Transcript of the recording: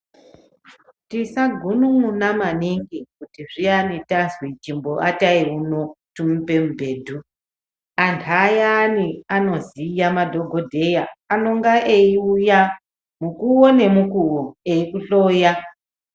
Tisagunun'una maningi kuti zviyani tazwi chimboatai uno timupe mubhedhu anthu ayani anoziya madhokodheya anonga eiuya mukuwo nemukuwo eikuhloya.